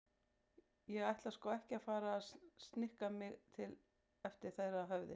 Ég ætla sko ekki að fara að snikka mig til eftir þeirra höfði.